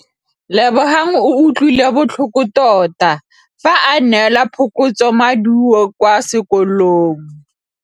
Lebogang o utlwile botlhoko tota fa a neelwa phokotsômaduô kwa sekolong.